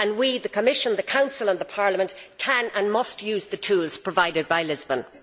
We the Commission, the Council and Parliament can, and must, use the tools provided by Lisbon.